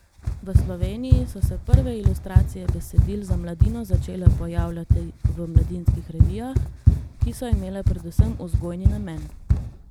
V Sloveniji so se prve ilustracije besedil za mladino začele pojavljati v mladinskih revijah, ki so imele predvsem vzgojni namen.